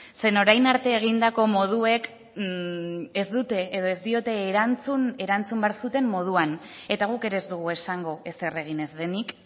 zeren orain arte egindako moduek ez dute edo ez diote erantzun erantzun behar zuten moduan eta guk ere ez dugu esango ezer egin ez denik